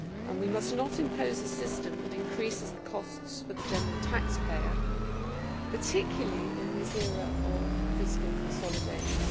We must not impose a system that increases the costs for the general taxpayer, particularly in this era of fiscal consolidation.